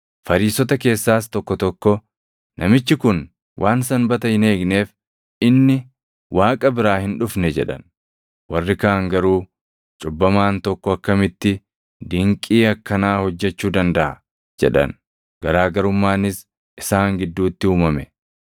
Fariisota keessaas tokko tokko, “Namichi kun waan Sanbata hin eegneef, inni Waaqa biraa hin dhufne” jedhan. Warri kaan garuu, “Cubbamaan tokko akkamitti dinqii akkanaa hojjechuu dandaʼa?” jedhan. Garaa garummaanis isaan gidduutti uumame.